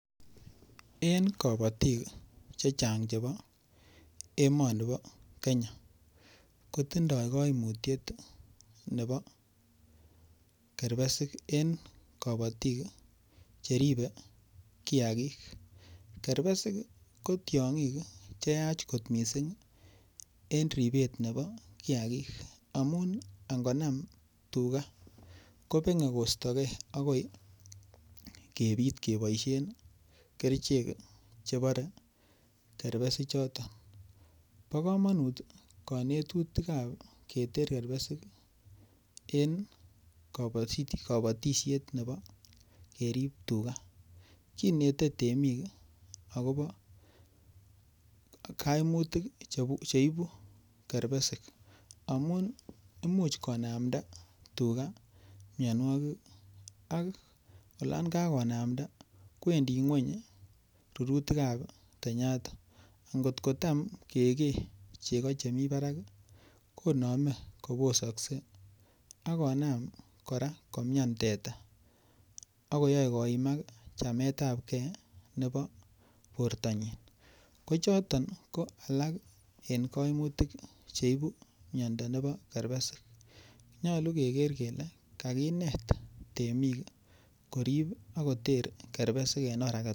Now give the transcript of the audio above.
En kabotik chechang' chebo emoni bo Kenya kotindoi kaimutyet nebo keribesik en kabotik cheribe kiyakik keribesik ko tiong'ik che yaach kot mising' en ribet nebo kiyakik amun ingonam tuga kobeng'e koistogei akoi kebit keboishen kerichek chebore kerbeshichoton bo kamanut kanetutikab keter kerbesik en kabotishet nebo kerib tuga inete temik akobo kaimutik cheibu keribesik amun imuch konamda tuga miyonwokik ak yon kakonamda kwendi ng'weny rurutikab tanyata ngot ko tam kekei chego chemi barak konome kobososkei akonam kora komyan teta akoyoei koimak chametab gei nebo bortonyin ko chotok ko alak eng' kaimutik cheibu miyondo nebo keribesik nyolu keker kele kainet temik korib akoter keribesik en oret